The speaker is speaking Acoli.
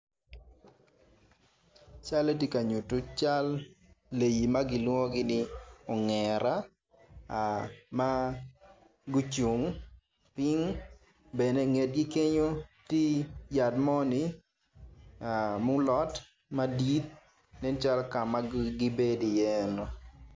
Calle ti ka nyutu cal leei ma kilwongo-ni ongera ma gucung ping bene ingetgi kenyo tye yat moni mulot madit nen calo kama gibedi iye eno